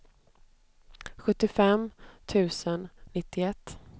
sjuttiofem tusen nittioett